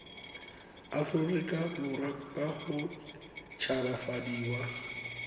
aforika borwa ka go tshabafadiwa